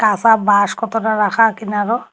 কাঁসা বাঁশ কতটা রাখা কিনারো।